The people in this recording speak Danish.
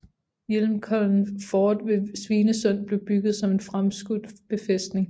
Hjelmkollen fort ved Svinesund blev bygget som en fremskudt befæstning